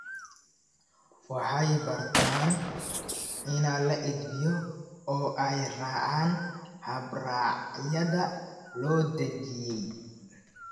waxay bartaan in la edbiyo oo ay raacaan habraacyada loo dejiyay.